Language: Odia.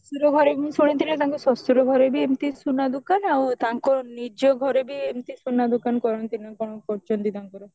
ତାଙ୍କ ଶଶୁର ଘର ମୁଁ ଶୁଣିଥିଲି ତାଙ୍କ ଶଶୁର ଘରେ ବି ଏମତି ସୁନା ଦୋକାନ ଆଉ ତାଙ୍କ ନିଜ ଘରେ ବି ଏମିତି ସୁନା ଦୋକାନ କରନ୍ତି ନା କଣ କଣ କରୁଛନ୍ତି ତାଙ୍କର